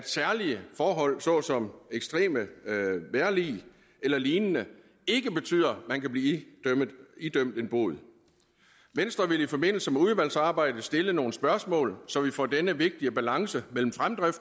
særlige forhold såsom ekstremt vejrlig eller lignende ikke betyder at man kan blive idømt en bod venstre vil i forbindelse med udvalgsarbejdet stille nogle spørgsmål så vi får denne vigtige balance mellem